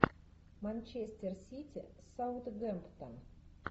манчестер сити саутгемптон